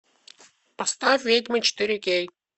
поставь ведьмы четыре кей